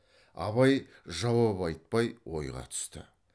абай жауап айтпай ойға түсті